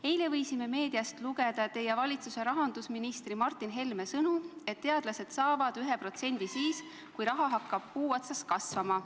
Eile võisime meediast lugeda teie valitsuse rahandusministri Martin Helme sõnu, et teadlased saavad 1% siis, kui raha hakkab puu otsas kasvama.